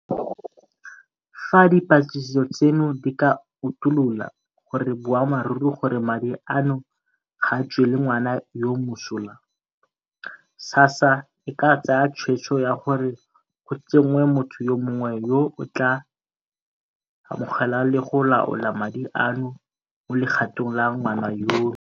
Fa dipatlisiso tseno di ka utulola gore ke boammaruri gore madi a no ga a tswele ngwana yoo mosola, SASSA e ka tsaya tshwetso ya gore go tsenngwe motho yo mongwe yo a tla amogelang le go laola madi ano mo legatong la ngwana yono,